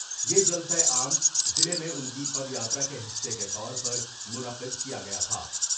یہ جلسہ عام ضلع میں ان کی پد یاترا کے حصے کے طور پر منعقد کیا گیا تھا ۔